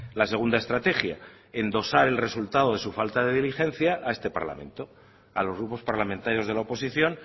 la segunda estrategia endosar el resultado de su falta de diligencia a este parlamento a los grupos parlamentarios de la oposición